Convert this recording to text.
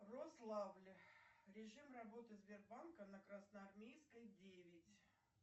рославль режим работы сбербанка на красноармейской девять